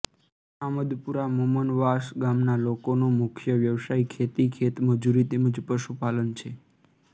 આમદપુરા મુમનવાસ ગામના લોકોનો મુખ્ય વ્યવસાય ખેતી ખેતમજૂરી તેમ જ પશુપાલન છે